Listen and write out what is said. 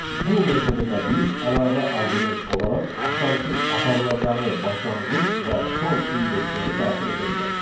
Bu metoda da biz əlavə arqument olaraq axtarışın aparılacağı başlanğıc və son indeksləri daxil edə bilərik.